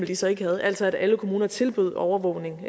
de så ikke havde altså at alle kommuner tilbød overvågning